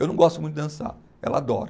Eu não gosto muito de dançar, ela adora.